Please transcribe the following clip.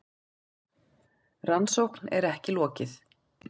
Rannsókn er ekki lokið.